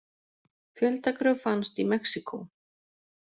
Fjöldagröf fannst í Mexíkó